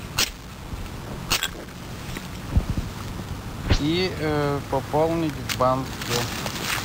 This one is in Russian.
и пополнить в банке